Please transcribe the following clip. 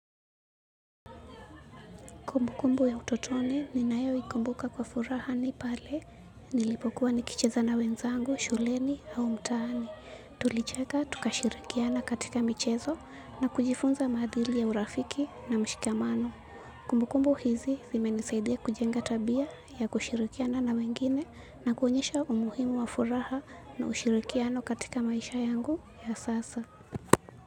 Kumbukumbu ya utotoni ninayo ikumbuka kwa furaha ni pale nilipokuwa nikicheza na wenzangu, shuleni au mtaani. Tulicheka tukashirikiana katika michezo na kujifunza maadili ya urafiki na mshikamano. Kumbukumbu hizi zimenisaidia kujenga tabia ya kushirikiana na wengine na kuonyesha umuhimu wa furaha na ushirikiano katika maisha yangu ya sasa.